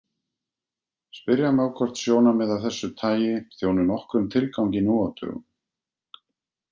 Spyrja má hvort sjónarmið af þessu tagi þjóni nokkrum tilgangi nú á dögum.